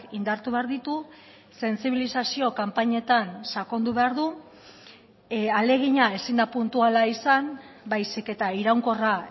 indartu behar ditu sentsibilizazio kanpainetan sakondu behar du ahalegina ezin da puntuala izan baizik eta iraunkorra